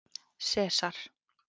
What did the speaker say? Sesar